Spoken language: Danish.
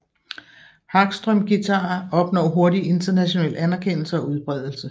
Hagström guitarer opnår hurtig international anerkendelse og udbredelse